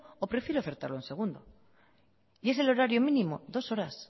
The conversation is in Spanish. o prefiere ofertarlo en segundo y es el horario mínimo dos horas